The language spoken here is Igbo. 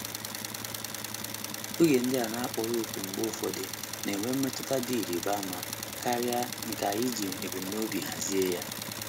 Oge ndị a na-akpọghị òkù mgbe ụfọdụ na-enwe mmetụta dị ịrịba ama karịa nke anyị ji ebumnobi hazie ya.